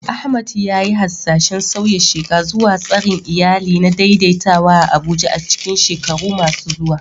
Ahmad ya yi hasashen sauya sheƙa zuwa tsarin iyali na daidaitawa a Abuja a cikin shekaru masu zuwa.